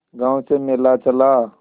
गांव से मेला चला